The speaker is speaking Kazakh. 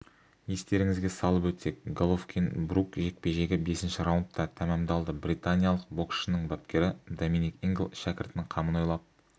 естеріңізге салып өтсек головкин-брук жекпе-жегі бесінші раундта тәмамдалды британиялық боксшының бапкері доминик ингл шәкіртінің қамын ойлап